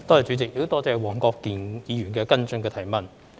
主席，多謝黃國健議員的補充質詢。